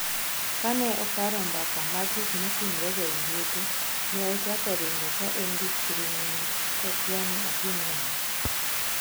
Kane oparo mbaka mag gikmatimre ga e liete ne ochako ringo ka en duk thiring"inyi kokia ni otim nang"o